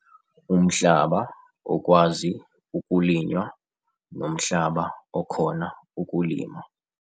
Umhlaba okwazi ukulinywa nomhlaba okhona ukulima